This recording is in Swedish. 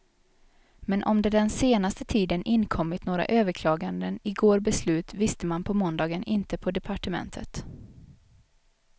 Men om det den senaste tiden inkommit några överklaganden igår beslut visste man på måndagen inte på departementet.